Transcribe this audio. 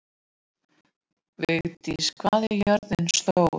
Viglís, hvað er jörðin stór?